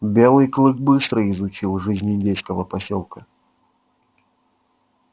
белый клык быстро изучил жизнь индейского посёлка